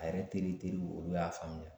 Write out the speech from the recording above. A yɛrɛ teri teriw olu y'a faamuya